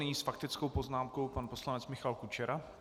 Nyní s faktickou poznámkou pan poslanec Michal Kučera.